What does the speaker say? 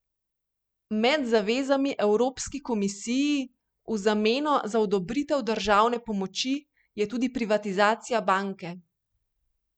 Med zavezami evropski komisiji v zameno za odobritev državne pomoči je tudi privatizacija banke.